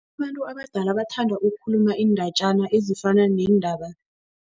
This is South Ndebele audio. Abantu abadala bathanda ukukhuluma iindatjana ezifana neendaba.